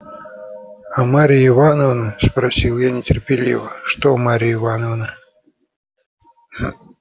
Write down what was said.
а марья ивановна спросил я нетерпеливо что марья ивановна